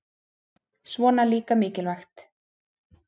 Svona líka mikilvægt